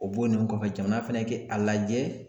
O bɔlen kɔfɛ jamana fɛnɛ kɛ a lajɛ.